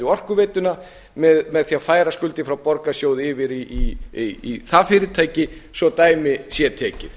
orkuveituna með því að færa skuldir frá borgarsjóði yfir í það fyrirtæki svo dæmi sé tekið